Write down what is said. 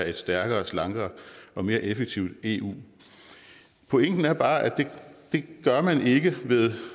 et stærkere slankere og mere effektivt eu pointen er bare at det gør man ikke ved